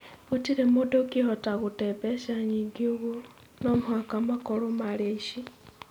Gũtirĩ mũndũ ũngĩhota gũte mbeca nyingĩ ũguo. No mũhaka makorũo maarĩ aici.